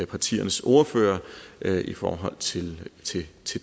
partiernes ordførere i forhold til